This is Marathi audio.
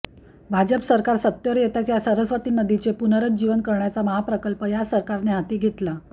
भाजप सरकार सत्तेवर येताच या सरस्वती नदीचे पुनरुज्जीवन करण्याचा महाप्रकल्प या सरकारने हाती घेतला